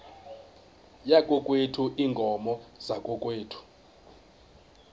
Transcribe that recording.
yakokwethu iinkomo zakokwethu